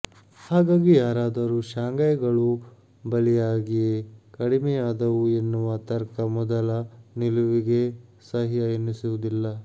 ಹಾಗಾಗಿ ಯಾರಾದರೂ ಶಾಂಘೈಗಳು ಬಲಿಯಾಗಿಯೇ ಕಡಿಮೆಯಾದವು ಎನ್ನುವ ತರ್ಕ ಮೊದಲ ನಿಲುವಿಗೇ ಸಹ್ಯ ಎನ್ನಿಸುವುದಿಲ್ಲ